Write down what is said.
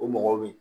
O mɔgɔ bi